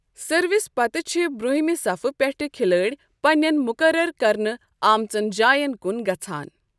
Service پتہٕ چھ برٛونٛہمہ صفہٕ پٮ۪ٹھٕ کِھلٲڑۍ پنٛنٮ۪ن مقرر کرنہٕ آمژن جاین کن گژھان۔